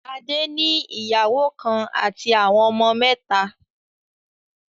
Adé ní ìyàwó kan àti àwọn ọmọ mẹ́ta.